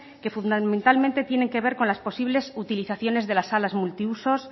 que fundamentalmente tienen que ver con las posibles utilizaciones de las salas multiusos